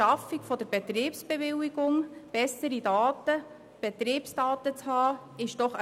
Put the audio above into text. Diese ist doch eine wichtige Voraussetzung, um den Bedarf der Versorgung zu kennen und zu steuern.